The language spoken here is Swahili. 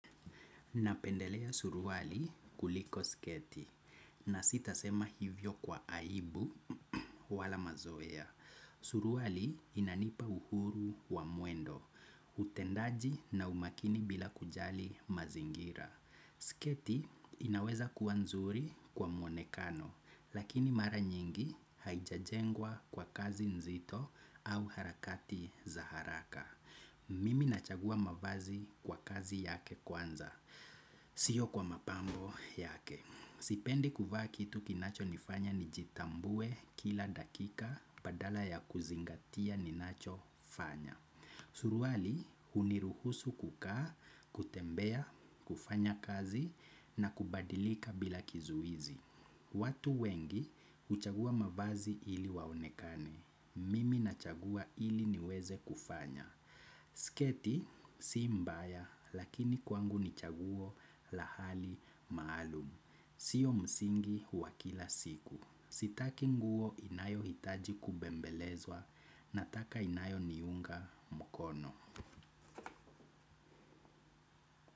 Napendelea suruali kuliko sketi na sitasema hivyo kwa aibu wala mazoea. Suruali inanipa uhuru wa mwendo, utendaji na umakini bila kujali mazingira. Sketi inaweza kuwa nzuri kwa mwonekano lakini mara nyingi haijajengwa kwa kazi nzito au harakati za haraka. Mimi nachagua mavazi kwa kazi yake kwanza. Sio kwa mapambo yake. Sipendi kuvaa kitu kinachonifanya nijitambue kila dakika badala ya kuzingatia ninacho fanya. Suruali huniruhusu kukaa, kutembea, kufanya kazi na kubadilika bila kizuizi. Watu wengi huchagua mavazi ili waonekane. Mimi nachagua ili niweze kufanya. Sketi si mbaya lakini kwangu ni chaguo la hali maalum. Sio msingi wa kila siku. Sitaki nguo inayohitaji kubembelezwa nataka inayoniunga mkono.